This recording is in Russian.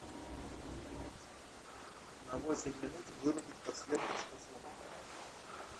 на восемь минут вырубить подсветка в шкафу